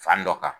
Fan dɔ kan